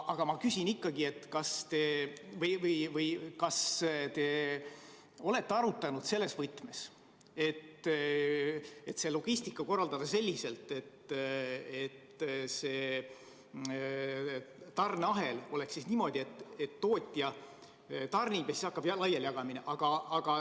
Aga ma küsin, kas te olete küsimust arutanud selles võtmes, et logistika korraldada selliselt, et see tarneahel oleks niisugune, et tootja tarnib ja siis hakkab laialijagamine.